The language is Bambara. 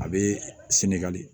A bɛ senegali